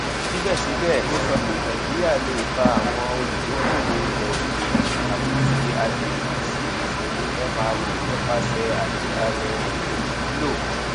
síbẹsíbẹ ó sọ pé nàìjíríà lè fa àwọn olùdókòòwò ilẹòkèèrè àti ti agbègbè sí ìṣòwò mro nípasẹ àgbékalẹ ètò ìmúlò